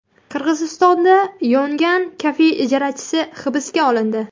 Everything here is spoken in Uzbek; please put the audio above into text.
Qirg‘izistonda yongan kafe ijarachisi hibsga olindi.